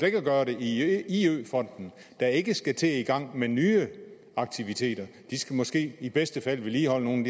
ikke at gøre det i iø fonden der ikke skal til at i gang med nye aktiviteter de skal måske i bedste fald vedligeholde nogle